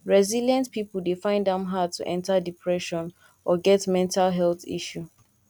resilient pipo dey find am hard to enter depression or get mental health issue